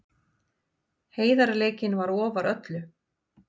Heiðarleikinn var ofar öllu.